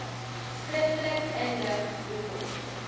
skriftelik inlig hoekom